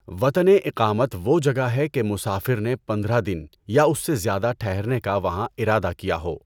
وطنِ اِقامت وہ جگہ ہے کہ مسافر نے پندرہ دن یا اس سے زیادہ ٹھہرنے کا وہاں ارادہ کیا ہو۔